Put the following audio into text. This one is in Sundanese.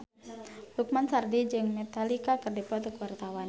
Lukman Sardi jeung Metallica keur dipoto ku wartawan